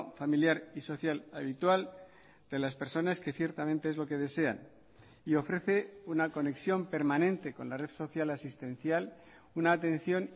familiar y social habitual de las personas que ciertamente es lo que desean y ofrece una conexión permanente con la red social asistencial una atención